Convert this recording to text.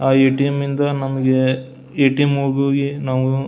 ಆಹ್ಹ್ ATM. ಇಂದ ATM. ಹೋಗಿ ನಾವು--